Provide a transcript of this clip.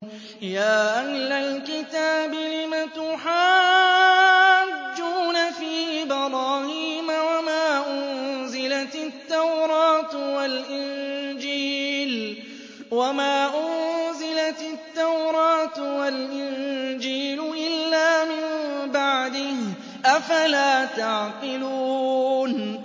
يَا أَهْلَ الْكِتَابِ لِمَ تُحَاجُّونَ فِي إِبْرَاهِيمَ وَمَا أُنزِلَتِ التَّوْرَاةُ وَالْإِنجِيلُ إِلَّا مِن بَعْدِهِ ۚ أَفَلَا تَعْقِلُونَ